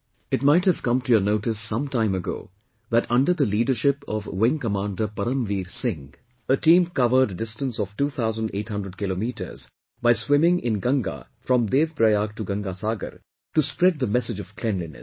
It might have come to your notice some time ago that under the leadership of Wing Commander Param Veer Singh, a team covered a distance of 2800 kilometres by swimming in Ganga from Dev Prayag to Ganga Sagar to spread the message of cleanliness